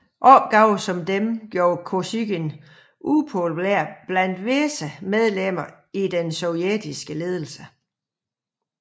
Opgaver som denne gjorde Kosygin upopulær blandt visse medlemmer af den sovjetiske ledelse